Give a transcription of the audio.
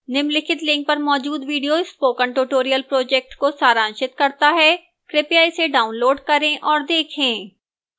निम्नलिखित link पर मौजूद video spoken tutorial project को सारांशित करता है कृपया इसे डाउनलोड करें और देखें